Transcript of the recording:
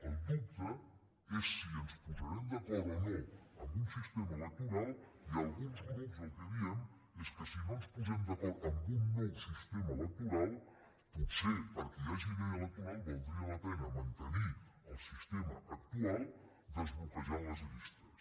el dubte és si ens posarem d’acord o no en un sistema electoral i alguns grups el que diem és que si no ens posem d’acord en un nou sistema electoral potser perquè hi hagi llei electoral valdria la pena mantenir el sistema actual desbloquejant les llistes